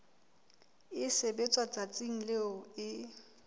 e sebetswa letsatsing leo e